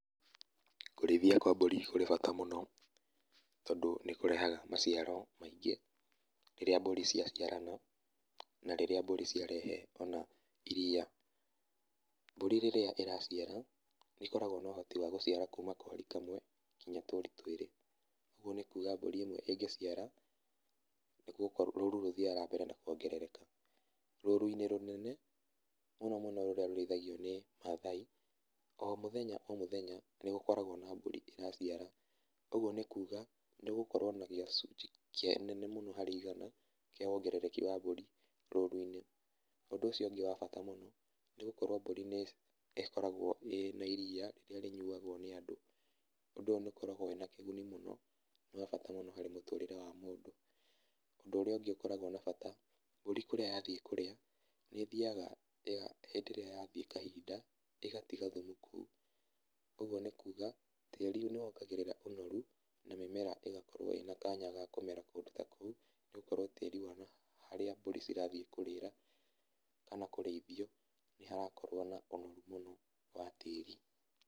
Kũrĩithia kwa mbũri kũrĩ bata mũno, tondũ nĩkũrehaga maciaro maingĩ rĩrĩa mbũri ciaciarana na rĩrĩa mbũri ciarehe ona iria. Mbũri rĩrĩa iraciara nĩkoragwa na ũhoti wa gũciara kuuma kwa mori kamwe nginya tũri twĩrĩ, ũguo nĩkuga mbũri ĩmwe ĩngĩciara rũru rũthiaga na mbere na kwongerereka. Rũru-inĩ rũnene mũno mũno rũrĩa rũrĩithiagio nĩ Mathai, o mũthenya o mũthenya nĩgũkoragwa na mbũri ĩraciara, ũguo nĩkuga nĩgũkorwo na gĩcunjĩ kĩnene mũno harĩ igana kĩa wongerereki wa mbũri rũru-inĩ, ũndũ ũcio ũngĩ wa bata mũno nĩgũkoragwa mbũri nĩkoragwo ĩrĩ na iria rĩrĩa rĩnyuagwo nĩ andũ, ũndũ ũyũ nĩũkoragwa wĩna kĩguni mũno na wa bata mũno harĩ mũtũrĩre wa mũndũ, ũndũ ũrĩa ũngĩ ũkoragwa na bata mbũri kũrĩa yathiĩ kũrĩa nĩthiaga hĩndĩ ĩrĩa yathiĩ kahinda ĩgatiga thumu kũu, ũguo nĩkuga tĩri nĩwongagĩrĩra ũnoru na mĩmera ĩgakorwo ĩna kanya ga kũmera kũndũ ta kũu nĩgũkorwo tĩri harĩa mbũri cirathiĩ kũrĩra kana kũrĩithio nĩharakorwo na ũnoru mũno wa tĩri.